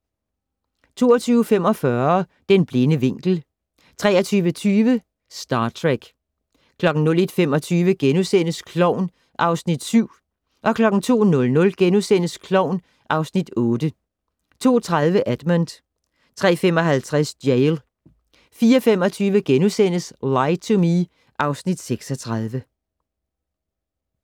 22:45: Den blinde vinkel 23:20: Star Trek 01:25: Klovn (Afs. 7)* 02:00: Klovn (Afs. 8)* 02:30: Edmond 03:55: Jail 04:25: Lie to Me (Afs. 36)*